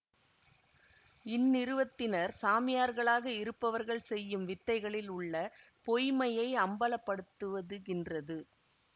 இந்நிறுவத்தினர் சாமியார்களாக இருப்பவர்கள் செய்யும் வித்தைகளில் உள்ள பொய்மையை அம்பலப்படுத்துவதுகின்றது